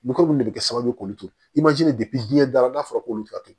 mun de bɛ kɛ sababu ye k'olu to i ma jeni dara n'a fɔra k'olu ka to